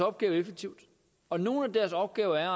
opgave effektivt og nogle af deres opgaver er